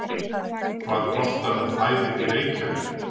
Hvað kostar nú fæðið í Reykjavík?